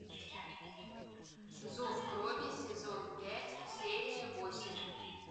зов крови сезон пять серия восемь